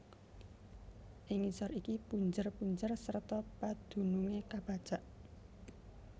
Ing ngisor iki punjer punjer serta padunungé kapacak